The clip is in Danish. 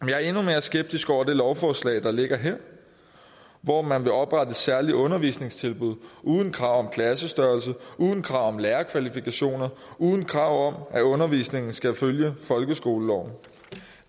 jeg er endnu mere skeptisk over for det lovforslag der ligger her hvor man vil oprette særlige undervisningstilbud uden krav om klassestørrelse uden krav om lærerkvalifikationer uden krav om at undervisningen skal følge folkeskoleloven